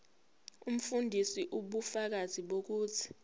umfundisi ubufakazi bokuthi